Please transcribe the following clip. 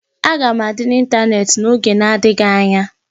Aga m adị n'ịntanetị n'oge adịghị anya